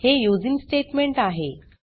हे using statement आहे